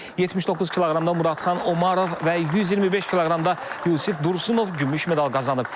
79 kq-da Muradxan Omarov və 125 kq-da Yusif Dursunov gümüş medal qazanıb.